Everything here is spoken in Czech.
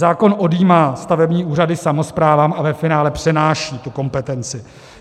Zákon odjímá stavební úřady samosprávám a ve finále přenáší tu kompetenci.